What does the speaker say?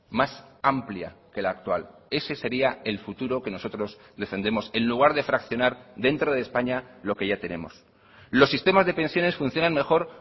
más amplia que la actual ese sería el futuro que nosotros defendemos en lugar de fraccionar dentro de españa lo que ya tenemos los sistemas de pensiones funcionan mejor